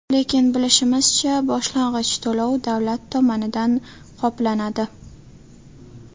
Lekin bilishimizcha, boshlang‘ich to‘lov davlat tomonidan qoplanadi.